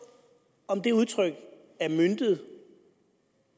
om det udtryk er møntet